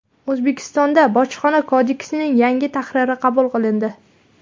O‘zbekistonda Bojxona kodeksining yangi tahriri qabul qilindi.